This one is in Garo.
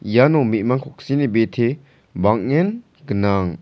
iano me·mang koksini bite bang·en gnang.